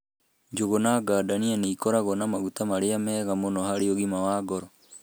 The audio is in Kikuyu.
Njũgũ na gadania nĩ ikoragwo na maguta marĩa mega mũno harĩ ũgima wa ngoro.